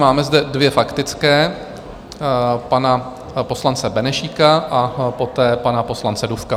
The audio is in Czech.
Máme zde dvě faktické, pana poslance Benešíka a poté pana poslance Dufka.